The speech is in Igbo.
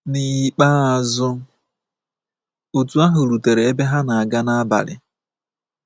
N’ikpeazụ, otu ahụ rutere ebe ha na-aga n'abalị.